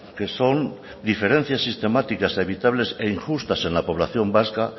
que son diferencias sistemáticas evitables e injustas en la población vasca